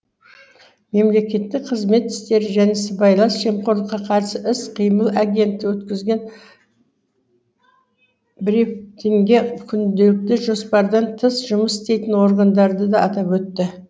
мемлекеттік қызмет істері және сыбайлас жемқорлыққа қарсы іс қимыл агенттігі өткізген бри фин ге күнделікті жоспардан тыс жұмыс істейтін органдарды да атап өтті